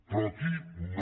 però aquí no